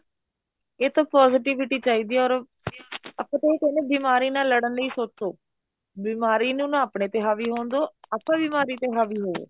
ਇਹ ਤਾਂ positivity ਚਾਹੀਦੀ ਏ or ਆਪਾਂ ਤਾਂ ਇਹ ਕਹਿਨੇ ਆ ਬਿਮਾਰੀ ਨਾਲ ਲੜਣ ਲਈ ਸੋਚੋ ਬਿਮਾਰੀ ਨੂੰ ਨਾ ਆਪਣੇ ਤੇ ਹਾਵੀ ਹੋਣ ਦੋ ਆਪਾਂ ਬਿਮਾਰੀ ਤੇ ਹਾਵੀ ਹੋਵੋ